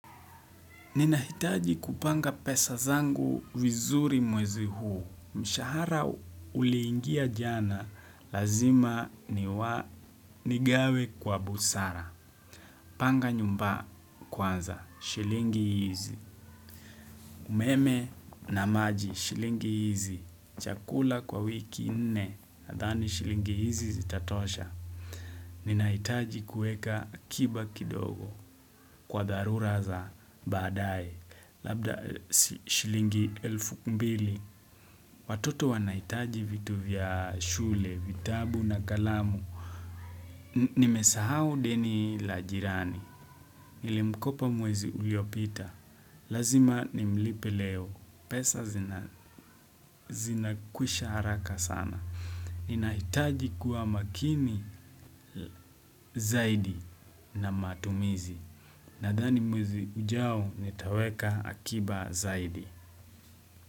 Ninahitaji kupanga pesa zangu vizuri mwezi huu. Mshahara uliingia jana, lazima ni wa, ni gawe kwa busara. Panga nyumba kwanza, shilingi hizi. Umeme na maji, shilingi hizi. Chakula kwa wiki nne, nadhani shilingi hizi zitatosha. Ninahitaji kueka akiba kidogo, kwa dharura za baadaye. Labda shilingi elfu mbili Watoto wanahitaji vitu vya shule, vitabu na kalamu Nimesahau deni la jirani Nilimkopa mwezi uliopita Lazima nimlipe leo pesa zinakwisha haraka sana Ninahitaji kuwa makini zaidi na matumizi Naddani mwezi ujao nitaweka akiba zaidi.